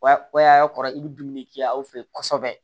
O y'a kɔrɔ i bɛ dumuni kɛ aw fɛ yen kosɛbɛ